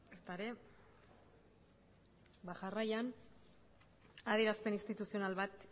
ezta ere ba jarraian adierazpen instituzional bat